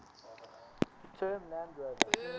term land rover